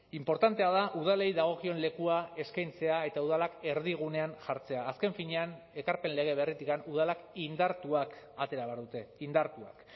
inportantea da udalei dagokion lekua eskaintzea eta udalak erdigunean jartzea azken finean ekarpen lege berritik udalak indartuak atera behar dute indartuak